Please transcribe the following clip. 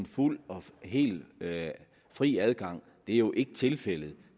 fuld og hel fri adgang det er jo ikke tilfældet